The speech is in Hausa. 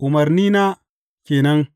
Umarnina ke nan.